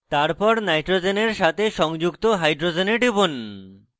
তারপর nitrogen সাথে সংযুক্ত hydrogens টিপুন